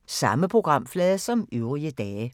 Samme programflade som øvrige dage